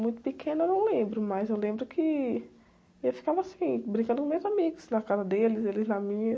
Muito pequena eu não lembro, mas eu lembro que eu ficava assim, brincando com meus amigos, na casa deles, eles na minha.